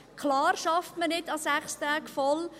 Klar, man arbeitet nicht an 6 Tagen voll.